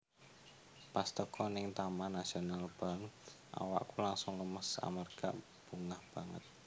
Pas teko ning Taman Nasional Banff awakku langsung lemes amarga bungah banget